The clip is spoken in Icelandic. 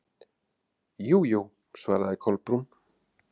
Jú, jú- svaraði Kolbrún.